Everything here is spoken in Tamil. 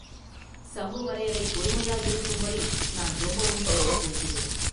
“சம்புவரையரைப் பொறுமையாயிருக்கும்படி நான் ரொம்பவும் கேட்டுக் கொள்கிறேன்.